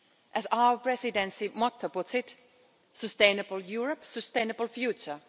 As our Presidency motto puts it, Sustainable Europe Sustainable Future'.